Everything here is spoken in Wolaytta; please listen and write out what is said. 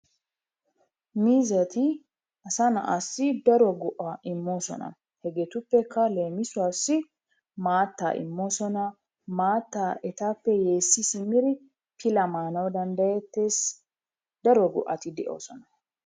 Miizzati asa na'aassi daro go'aa immoosona. Hegeetuppekka leemisuwassi maattaa immoosona, maattaa etappe yeessi simmiri pilaa maanawu danddayettees, daro go'ati de'oosona.